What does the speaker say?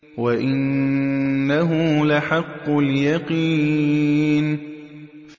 وَإِنَّهُ لَحَقُّ الْيَقِينِ